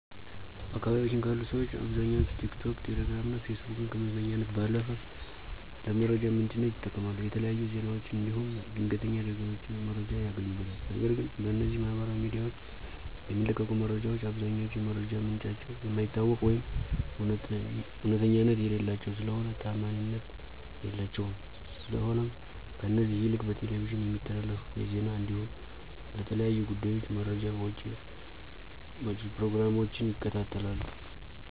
በአካባቢያችን ካሉ ሠዎች አብዛኛዎቹ ቲክቶክ፣ ቴሌግራም እና ፌስቡክን ከመዝናኛነት ባለፉ ለመረጃ ምንጭነት ይጠቀማሉ። የተለያዩ ዜናዎችን እንዲሁም የድንተኛ አደጋዎችን መረጃ ያገኙበታል፤ ነገር ግን በእነዚህ ማህበራዊ ሚዲያዎች የሚለቀቁ መረጃዎች አብዛኛዎቹ የመረጃ ምንጫቸው የማይታወቅ ወይም እውነተኛነት የሌላቸው ስለሆኑ ታዓማኒነት የላቸውም፤ ስለሆነም ከእነዚህ ይልቅ በቴሌቪዥን የሚተላለፉ የዜና እንዲሁም ለተለያዩ ጉዳዮች መረጃ መጪ ፕሮግራሞችን ይከታተላሉ።